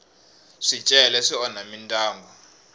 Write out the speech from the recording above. swicele swi onha mindyangu